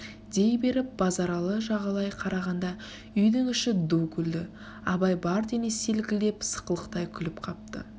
дей беріп базаралы жағалай қарағанда үйдің іші ду күлді абай бар денесі селкілдеп сықылықтай күліп қапты